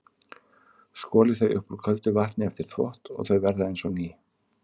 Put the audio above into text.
Skolið þau upp úr köldu vatni eftir þvott og þau verða eins og ný.